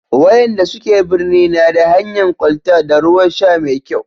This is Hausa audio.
wayanda suke birni na da hanyan kwalta da ruwan sha mai kyau